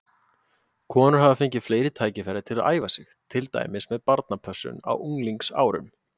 Konur hafa fengið fleiri tækifæri til að æfa sig, til dæmis með barnapössun á unglingsárum.